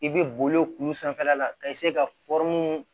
I bɛ boli k'u sanfɛla la ka ka